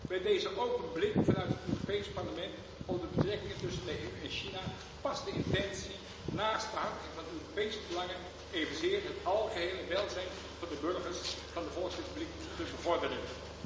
Bij deze open blik vanuit het Europees Parlement op de betrekkingen tussen de EU en China past de intentie om, naast het behartigen van de Europese belangen, ook het algehele welzijn van de burgers van de Volksrepubliek te bevorderen.